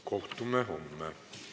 Kohtume homme.